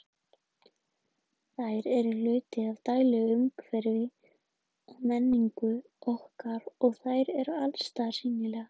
Þær eru hluti af daglegu umhverfi og menningu okkar og þær eru allsstaðar sýnilegar.